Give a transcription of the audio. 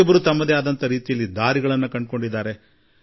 ಪ್ರತಿಯೊಬ್ಬರೂ ತಮ್ಮ ತಮ್ಮದೇ ಆದ ದಾರಿ ಕಂಡುಕೊಂಡಿದ್ದಾರೆ